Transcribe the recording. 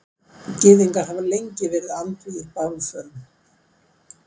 Gyðingar hafa lengi verið andvígir bálförum.